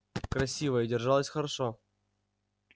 красивая держалась хорошо